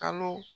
Kalo